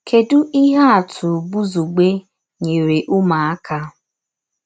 Kèdù íhè àtụ̀ Bùzugbè nyèrè ụmụ̀àkà?